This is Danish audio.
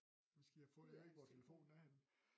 Så skal I have fundet ud af hvor telefonen er henne